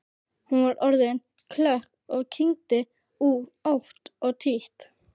Hún var orðin klökk og kyngdi ótt og títt.